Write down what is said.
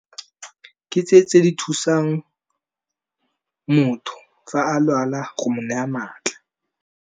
Ke tse tse di thusang motho, fa a lwala go mo naya maatla.